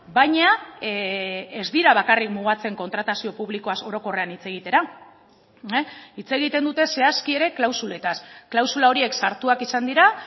baina ez dira bakarrik mugatzen kontratazio publikoaz orokorrean hitz egitera hitz egiten dute zehazki ere klausuletaz klausula horiek sartuak izan dira